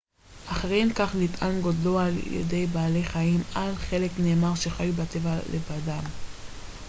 אחרים כך נטען גודלו על-ידי בעלי חיים על חלק נאמר שחיו בטבע לבדם